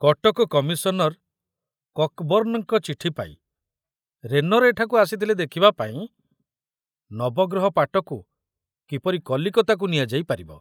Cuttack commissioner କକବର୍ଣ୍ଣଙ୍କ ଚିଠି ପାଇ ରେନର ଏଠାକୁ ଆସିଥିଲେ ଦେଖିବା ପାଇଁ ନବଗ୍ରହ ପାଟକୁ କିପରି କଲିକତାକୁ ନିଆଯାଇ ପାରିବ।